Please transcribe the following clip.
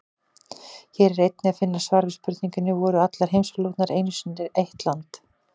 Hér er einnig að finna svar við spurningunum: Voru allar heimsálfurnar einu sinni eitt land?